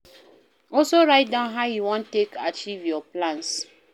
Also write down how you won take acheive your plans